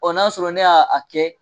n'a sɔrɔ ne y'a kɛ.